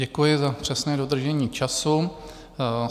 Děkuji za přesné dodržení času.